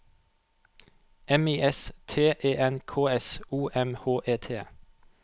M I S T E N K S O M H E T